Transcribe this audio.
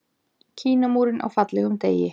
Kínamúrinn á fallegum degi.